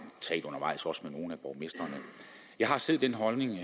undervejs også talt med nogle af borgmestrene jeg har selv den holdning vil